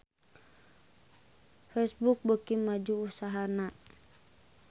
Facebook beuki maju usahana